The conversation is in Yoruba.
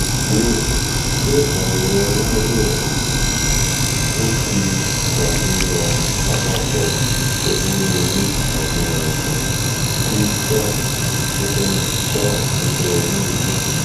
ìbéèrè: ṣé àyẹ̀wò aláwòrán nt ń ṣàfihàn àpapọ̀ onírúurú àmì àìsàn ti down nínú down nínú oyún inú?